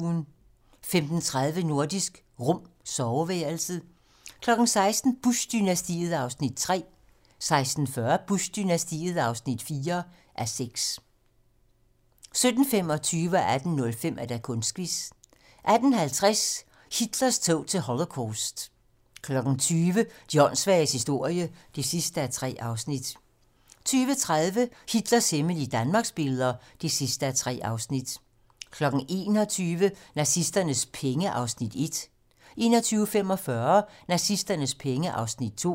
15:30: Nordisk Rum - soveværelset 16:00: Bush-dynastiet (3:6) 16:40: Bush-dynastiet (4:6) 17:25: Kunstquiz 18:05: Kunstquiz 18:50: Hitlers tog til Holocaust 20:00: De åndssvages historie (3:3) 20:30: Hitlers hemmelige Danmarksbilleder (3:3) 21:00: Nazisternes penge (Afs. 1) 21:45: Nazisternes penge (Afs. 2)